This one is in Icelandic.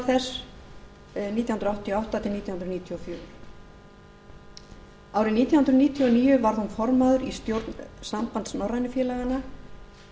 frá nítján hundruð áttatíu og átta til nítján hundruð níutíu og fjögur árið nítján hundruð níutíu og níu var hún formaður í stjórn sambands norrænu félaganna